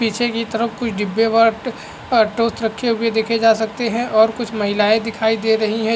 पीछे की तरफ कुछ डिब्बे और और टॉर्च रखे हुए देखे जा सकते है और कुछ महिलाएं दिखाई दे रही है।